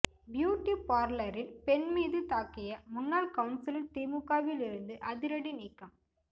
beauty பார்லரில் பெண் மீது தாக்கிய முன்னாள் கவுன்சிலர் திமுகவிலிருந்து அதிரடி நீக்கம்